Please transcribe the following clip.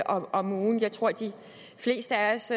om ugen jeg tror de fleste af os